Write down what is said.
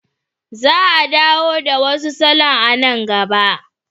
Za a dawo da wasu salon a nan gaba.